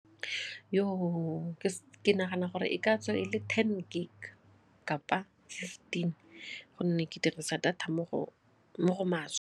Ke nagana gore e ka tswa e le ten gig kapa fifteen gonne ke dirisa data mo go maswe.